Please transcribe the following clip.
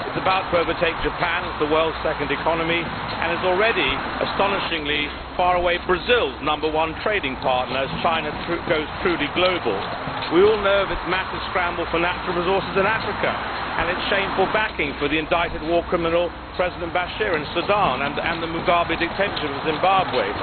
It is about to overtake Japan as the world's second economy and is already astonishingly far and away Brazil's number one trading partner, as China goes truly global. We all know of its massive scramble for natural resources in Africa and its shameful backing for the indicted war criminal, President Bashir, in Sudan and the Mugabe dictatorship in Zimbabwe.